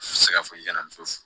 I tɛ se ka fɔ i kana muso